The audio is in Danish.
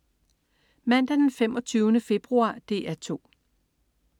Mandag den 25. februar - DR 2: